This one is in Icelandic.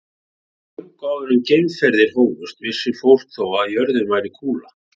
Löngu áður en að geimferðir hófust vissi fólk þó að jörðin væri kúla.